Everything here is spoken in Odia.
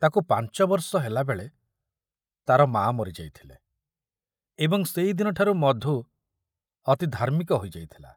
ତାକୁ ପାଞ୍ଚ ବର୍ଷ ହେଲାବେଳେ ତାର ମା ମରି ଯାଇଥିଲେ ଏବଂ ସେଇଦିନଠାରୁ ମଧୁ ଅତି ଧାର୍ମିକ ହୋଇଯାଇଥିଲା।